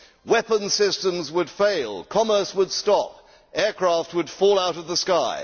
Weapon systems would fail, commerce would stop, aircraft would fall out of the sky.